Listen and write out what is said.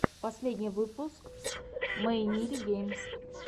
последний выпуск мэйнирин геймс